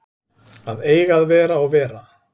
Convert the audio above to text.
Að eiga að vera og vera